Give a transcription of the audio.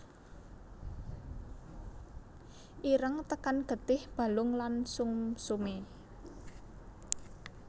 Ireng tekan getih balung lan sumsume